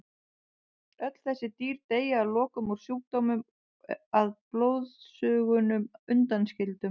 Öll þessi dýr deyja að lokum úr sjúkdómnum að blóðsugunum undanskildum.